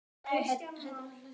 Var einhver þreyta í hópnum?